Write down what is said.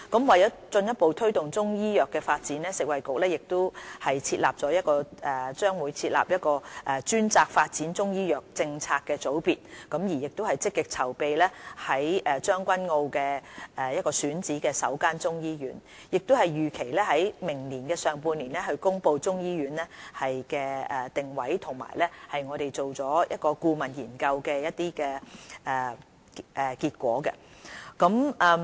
為了進一步推動中醫藥的發展，食物及衞生局將會成立專責發展中醫藥政策的組別，亦積極籌備將軍澳選址的首間中醫醫院，並預期於明年上半年公布中醫醫院的定位和有關顧問研究的結果。